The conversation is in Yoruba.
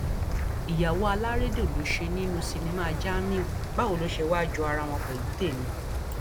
ìyàwó alárédè ló ṣe nínú sinimá jamiu báwo ló ṣe wáá jó ara wọn pẹlú tẹmí